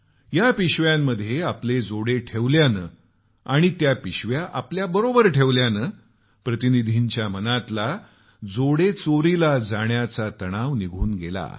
या पिशव्यांमध्ये आपले जोडे घातल्यानं आणि त्या पिशव्या आपल्याबरोबर ठेवल्यानं प्रतिनिधीच्या मनातला चपला चोरीला जाण्याचा तणाव निघून गेला